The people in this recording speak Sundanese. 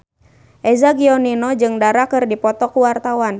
Eza Gionino jeung Dara keur dipoto ku wartawan